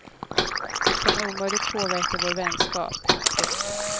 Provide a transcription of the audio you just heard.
Det kan omöjligt påverka vår vänskap. punkt